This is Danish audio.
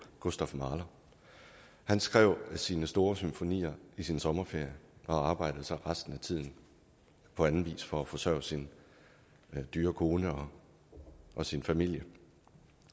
gustav mahler han skrev sine store symfonier i sin sommerferie og arbejdede så resten af tiden på anden vis for at forsørge sin dyre kone og sin familie